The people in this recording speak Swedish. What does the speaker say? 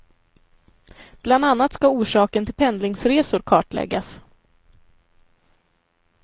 Bland annat ska orsaken till pendlingsresor kartläggas.